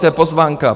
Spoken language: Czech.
To je pozvánka.